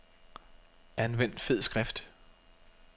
Anvend fed skrift.